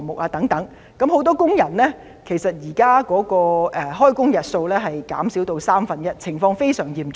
現時，很多工人的開工日數減少了三分之一，情況非常嚴重。